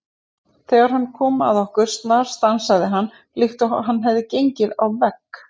Þegar hann kom að okkur snarstansaði hann líkt og hann hefði gengið á vegg.